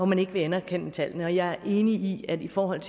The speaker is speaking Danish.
man ikke vil anerkende tallene jeg er enig i at i forhold